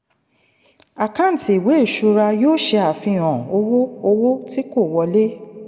àkáǹtì ìwé ṣura yóò ṣe àfihàn owó owó tí kò wọlé.